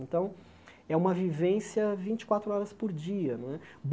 Então, é uma vivência vinte e quatro horas por dia. Não é